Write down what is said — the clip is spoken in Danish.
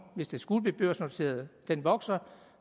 hvis det skulle blive børsnoteret vokser